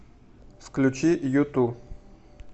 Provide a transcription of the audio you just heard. включи юту